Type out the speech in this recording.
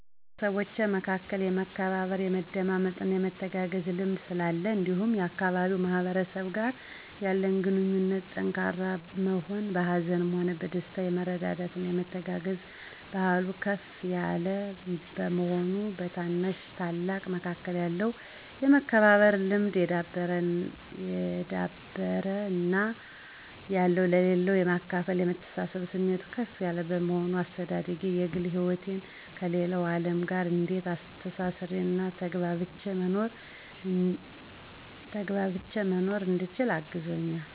በቤተሰቦቼ መካከል የመከባበር፣ የመደማመጥና የመተጋገዝ ልምድ ስላለን እንዲሁም የአካባቢው ማህበረሰብ ጋር ያለን ግንኙነት ጠንካራ መሆን፤ በሀዘንም ሆነ በደስታ የመረዳዳትና የመተጋገዝ ባህሉ ከፍ የለ መሆኑ፤ በታናሽና ታላቅ መካከል ያለው የመከባበር ልምድ የዳበረ እና ያለው ለሌለው የማካፈልና የመተሳሰብብ ስሜቱ ከፍ ያለ በመሆኑ፤ አስተዳደጌ የግል ህይወቴን ከሌለው አለም ጋር እንዴት አስተሳስሬና ተግባብቼ መኖር እንድችል አግዞኛል